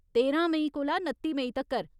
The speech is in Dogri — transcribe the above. तेरां मेई कोला नत्ती मेई तक्कर।